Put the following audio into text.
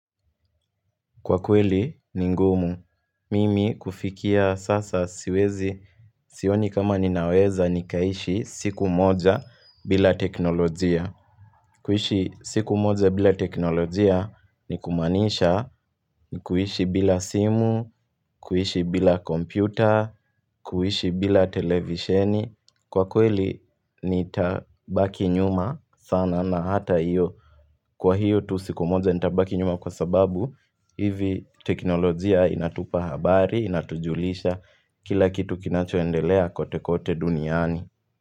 Kwa kweli ni ngumu, mimi kufikia sasa siwezi sioni kama ninaweza nikaishi siku moja bila teknolojia kuhishi siku moja bila teknolojia ni kumanisha ni kuhishi bila simu, kuhishi bila kompyuta, kuhishi bila televisheni Kwa kweli ni tabaki nyuma sana na hata iyo Kwa hiyo tu siku moja inatabaki nyuma kwa sababu, hivi teknolojia inatupa habari, inatujulisha kila kitu kinachoendelea kote kote duniani.